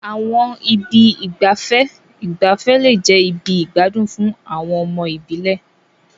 Àwọn ibi ìgbafẹ́ ìgbafẹ́ lè jẹ́ ibi ìgbádùn fún àwọn ọmọ ìbílẹ̀.